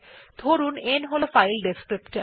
ধরুন n হল file descriptor